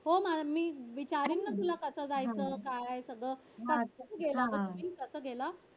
हो ना मी विचारीन ना तुला तिथं कस जायचं? काय? जायचं सगळं कस गेला